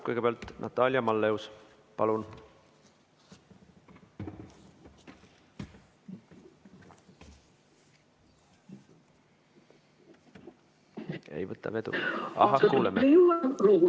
Kõigepealt Natalia Malleus, palun!